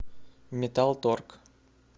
металл торг